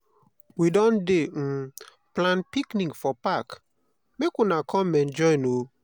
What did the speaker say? we don dey um plan picnic for park make una come enjoy o.